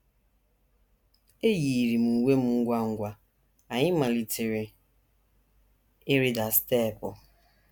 “ Eyiiri m uwe m ngwa ngwa, anyị malitere ịrịda steepụ.